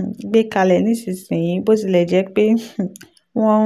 um gbé kalẹ̀ nísinsìnyí bó tilẹ̀ jẹ́ pé um wọ́n